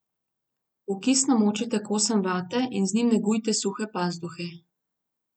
V kis namočite kosem vate in z njim negujte suhe pazduhe.